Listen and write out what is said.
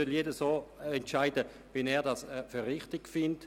jeder soll so entscheiden, wie er es für richtig hält.